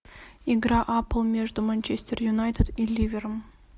игра апл между манчестер юнайтед и ливером